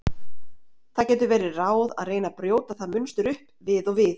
Það getur verið ráð að reyna að brjóta það munstur upp við og við.